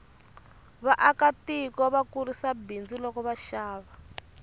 vaaka tiko va kurisa bindzu loko va xava